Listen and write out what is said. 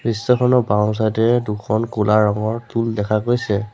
দৃশ্যখনৰ বাওঁচাইডে দুখন ক'লা ৰঙৰ টুল দেখা গৈছে।